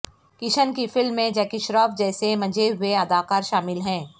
کشن کی فلم میں جیکی شیروف جیسے منجھے ہوئے اداکار شامل ہیں